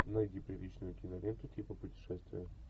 найди приличную киноленту типа путешествия